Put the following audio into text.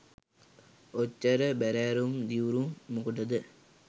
ඔච්චර බැරෑරුම් දිව්රුම් මොකටද